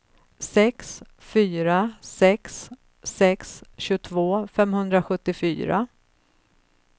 sex fyra sex sex tjugotvå femhundrasjuttiofyra